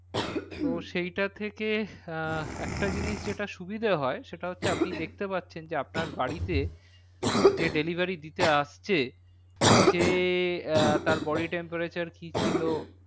তো সেইটা থেকে আহ একটা জিনিস যেটা সুবিধা হয় সেটা হচ্ছে আপনি দেখতে পাচ্ছেন যে আপনার বাড়িতে যে delivery দিতে আসছে সে আহ তার body temperature কি ছিল